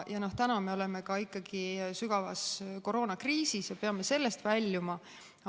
Täna me oleme ikkagi ka sügavas koroonakriisis ja peame sellest väljuma.